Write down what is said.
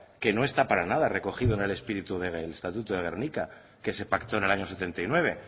que no está para nada recogido en el espíritu del estatuto de gernika que se pactó en el año setenta y nueve